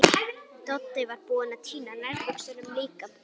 Doddi var búinn að týna nærbuxunum líka.